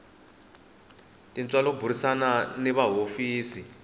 tintswalo burisana ni va hofisi